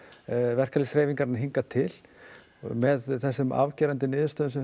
verkalýðshreyfingarinnar hingað til með þessum afgerandi niðurstöðum sem